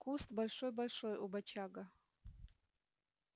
куст большой-большой у бочага